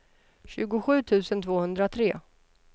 tjugosju tusen tvåhundratre